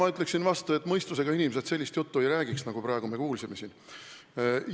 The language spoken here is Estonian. Ma ütleksin vastu, et mõistusega inimesed sellist juttu, nagu me praegu siin kuulsime, ei räägiks.